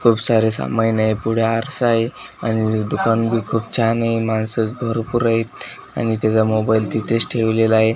खूप सारे समाइन आहे पुढे आरसा आहे आणि दुकान बी खूप छान आहे माणसं भरपूर आहेत आणि त्याजा मोबाईल तिथेच ठेवलेला आहे.